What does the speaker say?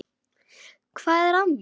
Hvað er að mér?